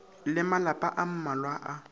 le malapa a mmalwa a